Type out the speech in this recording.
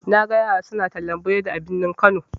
Naga yara suna tallan burodi a birni kano.